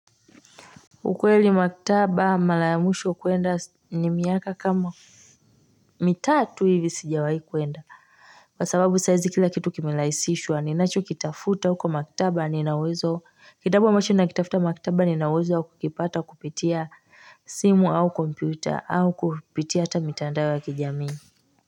Ukweli maktaba mala ya mwisho kwenda ni miaka kama mitatu hivi sijawahi kwenda kwa sababu saizi kila kitu kimelahisishwa ninacho kitafuta huko maktaba ninauwezo kitabu ambacho nakitafuta maktaba ninauwezo wa kukipata kupitia simu au kompyuta au kupitia hata mitandao wa kijamii.